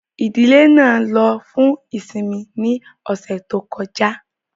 Ìdílé náà ló fún ìsinmi ní ọ̀sẹ̀ tó kọjá